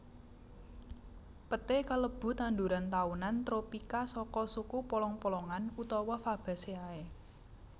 Peté kalebu tanduran taunan tropika saka suku polong polongan utawa Fabaceae